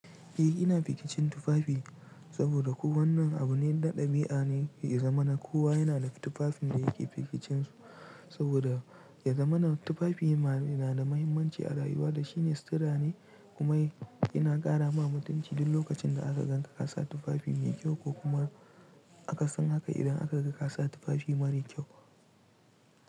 Eh ina fikicin tufafi saboda kuwa wannan abu ne na ɗabi'a ne, ya zamana kowa yana da tufafin da yake fikicin su saboda ya zamana tufafi yana da muhimmanci a rayuwa da shine sutura ne kuma yana ƙara ma mutum ciji duk lokacin da aka gan ka kasa tufafi mai kyau ko kuma aka san haka idan aka gan ka kasa tufafi mara kyau.